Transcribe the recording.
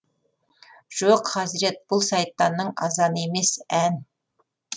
жоқ хазірет бұл сайтанның азаны емес ән